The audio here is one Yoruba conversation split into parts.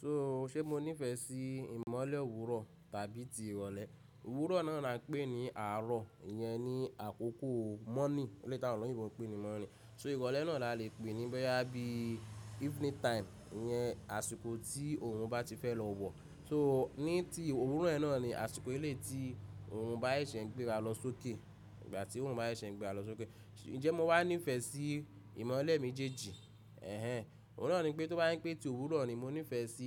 So, ṣé mo nífẹ̀ẹ́ sí ìmọ́lẹ̀ òwúrọ̀ tàbí ti ìrọ̀lẹ́? Òwúrọ̀ náà la n pé ní àárọ̀, ìyẹn ni àkókò morning, Eleyi t'awọn oloyinbo n pé ni morning. So ìrọ̀lẹ́ náà la le pè ní boyà bí evening time, ìyẹn àsìkò tí òrun bá ti fẹ́ lọ wọ̀. So ní ti òwúrọ̀ yẹn náà ni àsìkò eleyi tí òrun bá ẹ̀ ṣẹ̀ ń gbéra lọ sókè, ìgbà tí òrun bá ẹ̀ ṣẹ̀ ń gbéra lọ sókè. Ǹjẹ́ mo wá nífẹ̀ẹ́ sí ìmọ́lẹ̀ mi méjèèjì? Ẹ̀hẹn. Òun náà ni pé tó bá ń pè tí òwúrọ̀ ni mo nífẹ̀ẹ́ sí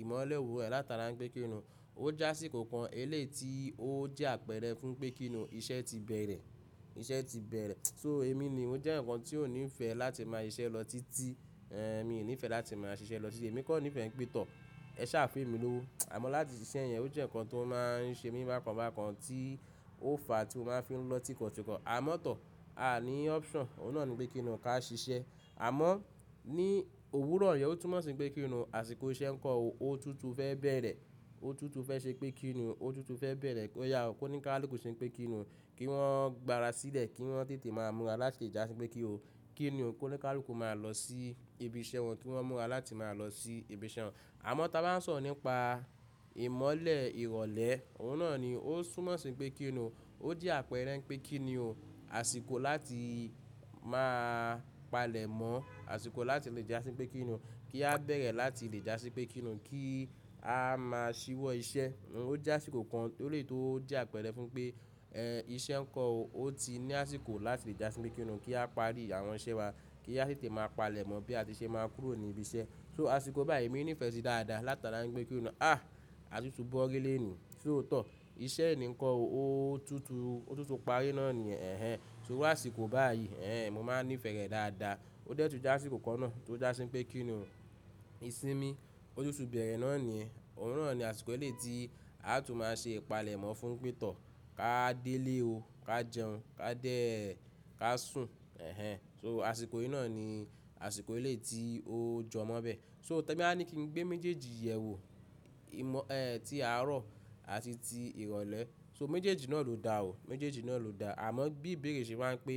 ìmọ́lẹ̀ òwúrọ̀ ẹ látara ń kpé kí ni, ó jásíkó kan ilé tí ó jẹ́ àpẹ̀rẹ fún pé kín ni iṣẹ́ ti bẹ̀rẹ̀, iṣẹ́ ti bẹ̀rẹ̀. So èmi ni mo jẹ́ eyan kan tí ò ní ìfẹ́ láti máa ṣiṣẹ́ lọ títí, ẹ́ mi ò ní ìfẹ́ láti máa ṣiṣẹ́ lọ títí. Èmi kọ́ nífẹ̀ẹ́ pé tọ̀, ẹ ṣà fun emí lówó. Àmọ́ láti ṣiṣẹ́ yẹn, ó jẹ́ ǹkan tó máa ń ṣe mí bákan bákan tí ó fa tí ó máa ń fi lọ tikọ̀ tíkọ̀. Àmọ́ tọ̀, a ní option, òun náà ni pé kín ni o ká ṣiṣẹ́. Àmọ́ ní òwúrọ̀ yẹn ó túnmọ̀ sí pé kín ni, àsìkò iṣẹ́ ǹkan ò, ó tutù fẹ́ bẹ̀rẹ̀, ó tutù fẹ́ ṣé pé kín ni, ó tutù fẹ́ bẹ̀rẹ̀ kó yá ó, kó ní káàlùkù ṣé pé kín ni, kí wọ́n gbá ara sílẹ̀, kí wọ́n tètè máa mú wa láti ìjà sí pé kí ó, kí ni ó kó ní káàlùkù máa lọ sí ibi iṣẹ́ wọn, kí wọ́n mú wa láti máa lọ sí ibi iṣẹ́ wọn. Àmọ́ tá a bá ń sọ̀rọ̀ nípa ìmọ́lẹ̀ ìrọ̀lẹ́, òun náà ni ó súnmọ́ sí i pé kí ni o, ó jẹ́ àpẹ̀rẹ pé kí ni o, àsìkò láti máa palẹ̀ mọ́, àsìkò láti lè já sí pé kí ni o, kí a bẹ̀rẹ̀ láti lè já sí pé kí ni o, kí a má a ṣíwọ́ iṣẹ́. Ó jásíkó kan lórí tó jẹ́ àpẹ̀rẹ fún pé, ẹ́ iṣẹ́ ǹkan ò, ó ti ní àsìkò láti lè já sí pé kí ni o, kí a parí àwọn iṣẹ́ wa, kí a tètè máa palẹ̀ mọ́ bí a ti ṣe máa kúrò ní ibi iṣẹ́. So àsìkò báyìí èmi nífẹ̀ẹ́ sí dáadáa látara ń gbé kí ni, à, a tutù bọ́rí lénìí. So tọ́, iṣẹ́ eni ǹkọ ò, ó tutù, ó tutù parí náà ni yẹ̀n, ẹ̀hẹn. So iru àsìkò báyìí, ẹ́ ẹ́ mo máa nífẹ̀ẹ́ rẹ̀ dáadáa. Ó dẹ́tu jásíkó kan náà tó já sí pé kí ni o, ìsinmi, ó tutù bẹ̀rẹ̀ náà ni, òun náà ni àsìkò ilé tí a tún máa ṣe ìpalẹ̀ mọ́ fún pé tọ́, ká dé ilé o, ká jẹun, ká dé, ká sùn, ẹ̀hẹn. So àsìkò yìí náà ni àsìkò ilé tí ó jọmọ́ bẹ. So tẹ ba ní kí n gbé méjèèjì yẹ̀wò, ìmọ́, ẹ́ ẹ́ ti àárọ̀ àti ti ìrọ̀lẹ́. So méjèèjì náà ló da ò, méjèèjì náà ló da. Àmọ́ bí Ìbèrè ṣe máa ń pé,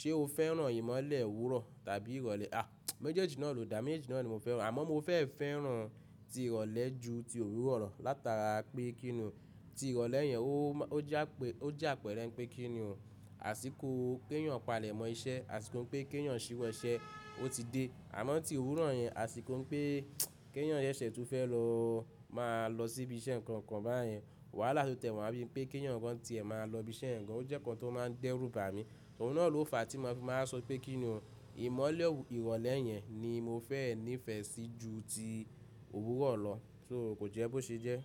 ṣé o fẹ́ràn ìmọ́lẹ̀ òwúrọ̀ tàbí ìrọ̀lẹ́? À, méjèèjì náà ló da, méjèèjì náà ni mo fẹ́ràn. Àmọ́ mo fẹ́ fẹ́ràn ti ìrọ̀lẹ́ ju ti òwúrọ̀ lọ látara pé kí ni o, ti ìrọ̀lẹ́ yẹn ó má, ó jà pé, ó jà pẹ̀rẹ pé kí ni o, àsìkò péyàn palẹ̀ mọ́ iṣẹ́, àsìkò pé kéyàn ṣíwọ́ iṣẹ́ o ó ti dé. Àmọ́ ti òwúrọ̀ yẹn, àsìkò ń pé kéyàn sẹ ṣẹ̀ tún fẹ́ lọ máa lọ sí ibi iṣẹ́ ǹkan kan báyẹn, wàhálà tó tẹ̀ wọ́n á bí i pé kéyàn ǹkan tí ẹ máa lọ ibi iṣẹ́ ǹkan, ó jẹ́ ǹkan tó máa dẹ́rù bà mí. Òun náà ló fa tí mo fi máa sọ pé kí ni o, ìmọ́lẹ̀ ìrọ̀lẹ́ yẹn ni mo fẹ́ nífẹ̀ẹ́ sí ju ti òwúrọ̀ lọ. So kò jẹ́ bó ṣe jẹ́.